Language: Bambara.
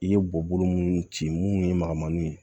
I ye bɔbolo minnu ci minnu ye magamanw ye